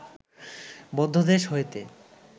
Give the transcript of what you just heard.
মধ্যদেশ হইতে